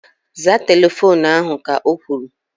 Zaa telefoonu ahu! Ka o kwuru